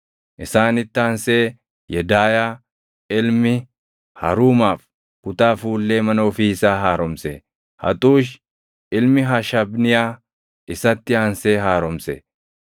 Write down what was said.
Isaanitti aansee Yedaayaa ilmi Haruumaaf kutaa fuullee mana ofii isaa haaromse; Haxuush ilmi Hashabniyaa isatti aansee haaromse.